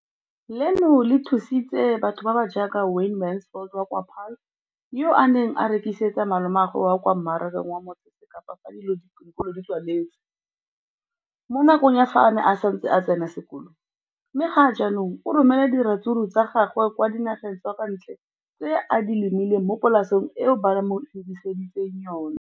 Leno le thusitse batho ba ba jaaka Wayne Mansfield, 33, wa kwa Paarl, yo a neng a rekisetsa malomagwe kwa Marakeng wa Motsekapa fa dikolo di tswaletse, mo nakong ya fa a ne a santse a tsena sekolo, mme ga jaanong o romela diratsuru tsa gagwe kwa dinageng tsa kwa ntle tseo a di lemileng mo polaseng eo ba mo hiriseditseng yona.